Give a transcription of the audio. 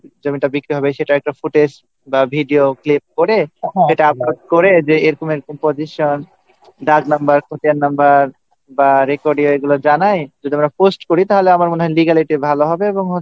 যে জমিটা বিক্রি হবে সেটার একটা Footage বা Video click করে সেটা Upload করে যে এরকম এরকম position ডাক number pin number বা রেকর্ডিয়া এগুলো জানাই যদি আমরা পোস্ট করি তাহলে আমার মনে হয় লিগালি এটা ভালো হবে এবং client